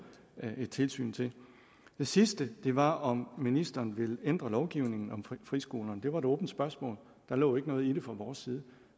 et tilsyn til det sidste var om ministeren ville ændre lovgivningen om friskolerne det var et åbent spørgsmål der lå ikke noget i det fra vores side